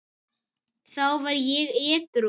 Þá var ég edrú.